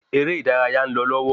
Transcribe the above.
Erè ìdárayá ń lò lọwọ